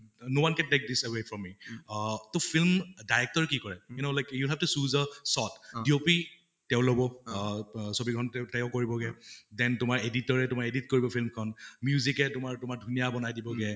Oh no one can take away from me ah তʼ film director ৰে কি কৰে you know like you have to choose a shot do তেওঁ লʼব অহ ব ছবি খন তেওঁ কৰিব্গে, then তোমাৰ editor য়ে edit কৰিব film খন। music য়ে তোমাৰ তোমাৰ ধুনীয়া বনাই দিব্গে